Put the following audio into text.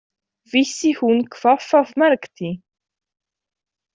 Vissi hún hvað það merkti?